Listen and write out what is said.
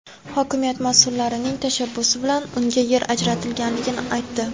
hokimiyat mas’ullarining tashabbusi bilan unga yer ajratilganini aytdi.